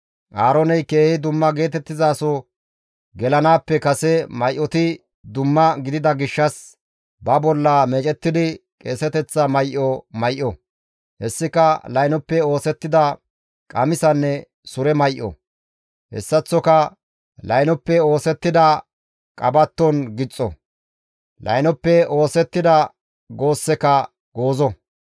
Aarooney keehi dumma geetettizaso gelanaappe kase may7oti dumma gidida gishshas ba bolla meecettidi qeeseteththa may7o may7o; hessika laynoppe oosettida qamisanne sure may7o; hessaththoka laynoppe oosettida qabatton gixxo; laynoppe oosettida goosseka goozo.